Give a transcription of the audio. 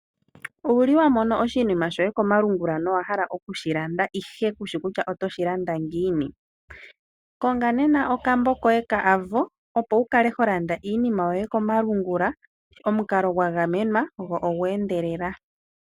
Owuli wa mono oshinima shoye komalungula nowa hala oku shi landa ihe kushi kusha otoshi landa ngiini? Konga nena okambo koye ka Avo opo wu kale ho landa iinima yoye komalungula, omukalo gwa gamenwa go ogwa endelele la.